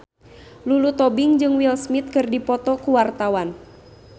Lulu Tobing jeung Will Smith keur dipoto ku wartawan